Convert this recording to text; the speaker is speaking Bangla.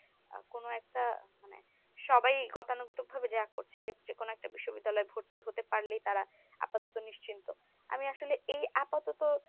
আ কোন একটা মানে সবাই গতানুগতিক ভাবে যা করছে যে কোন একটা বিশ্ববিদ্যালয়ে ভর্তি হতে পারলেই তারা আপাতত নিশ্চিন্ত আমি আসলে এই আপাতত,